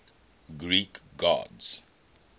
greek gods